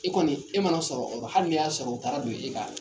E kɔni e mana sɔrɔ ola hali ni y'a sɔrɔ o taara don e kan